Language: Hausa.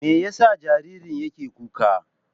Me yasa jaririn yake kuka?